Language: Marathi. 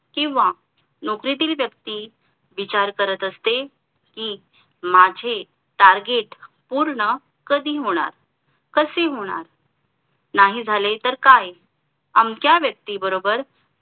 किंवा नोकरीतील व्यक्ती विचार करत असते कि माझे Target पूर्ण कधी होणार कसे होणार नाही झाले तर काय आमचा व्यक्ती बरोबर